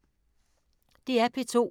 DR P2